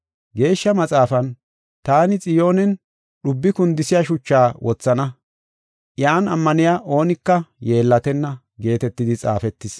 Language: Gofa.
Geeshsha Maxaafan, “Taani Xiyoonen dhubbi kundisiya shuchaa wothana. Iyan ammaniya oonika yeellatenna” geetetidi xaafetis.